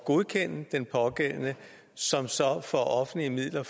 godkende den pågældende som så for offentlige midler